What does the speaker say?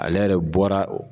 Ale yɛrɛ bɔra o